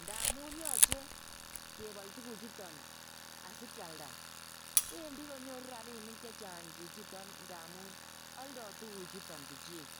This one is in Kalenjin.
ndamun yoche kebol tuguchuton asikialda wendi konyoru rabinik chechang chichiton ndamun oldo tuguchuton chuchik.